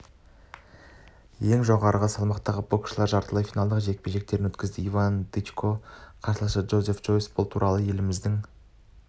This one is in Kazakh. ең жоғары салмақтағы боксшылар жартылай финалдық жекпе-жектерін өткізеді иван дычконың қарсыласы джозеф джойс бұл туралы еліміздің